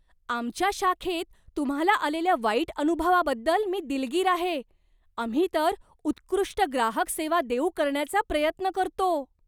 आमच्या शाखेत तुम्हाला आलेल्या वाईट अनुभवाबद्दल मी दिलगीर आहे. आम्ही तर उत्कृष्ट ग्राहक सेवा देऊ करण्याचा प्रयत्न करतो.